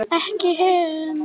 Ekki hund!